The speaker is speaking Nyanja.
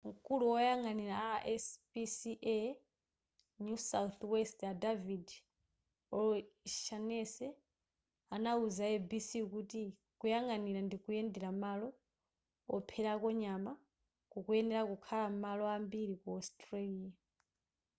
mkulu woyang'anira rspca new south west a david o'shannessy anauza a abc kuti kuyang'anira ndikuyendera malo opherako nyama kukuyenera kukhala m'malo ambiri ku australia